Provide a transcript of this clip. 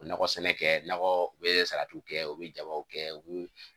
Nakɔ sɛnɛ kɛ, nakɔ u be salatiw kɛ u be jabaw kɛ u bi